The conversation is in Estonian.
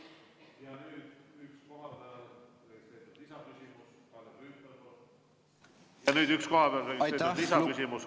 Ja nüüd üks kohapeal registreeritud lisaküsimus.